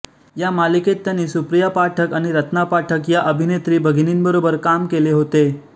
या मालिकेत त्यांनी सुप्रिया पाठक आणि रत्ना पाठक या अभिनेत्री भगिनींबरोबर काम केले होते